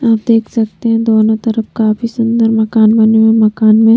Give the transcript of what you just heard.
आप देख सकते हैं दोनों तरफ काफी सुंदर मकान बने हुए हैं मकान में--